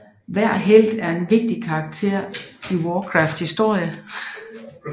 Hver helt er en vigtig karakter i Warcrafts historie og repræsenterer en bestemt klasse